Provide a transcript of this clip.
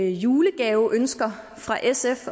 julegaveønsker fra sf